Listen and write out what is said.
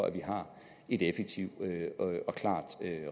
at vi har et effektivt og klart